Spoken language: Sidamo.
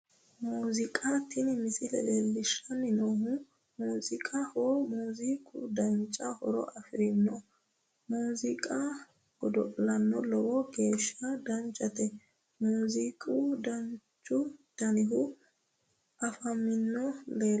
Muuziiqa tini misile leellishshanni noohu muuziiqaho muuziiqu duucha horo afirinoho muuziiqa godo'la lowo geeshsha danchate muuziiqu duuchu danihu afamanni lleellanno